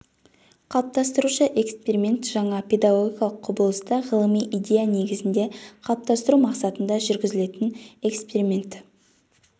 қалыптастырушы эксперимент жаңа педагогикалық құбылысты ғылыми идея негізінде қалыптастыру мақсатында жүргізілетін эксперимент